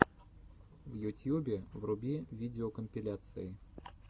в ютьюбе вруби видеокомпиляции